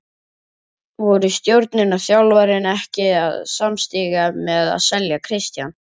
Voru stjórnin og þjálfarinn ekki samstíga með að selja Kristján?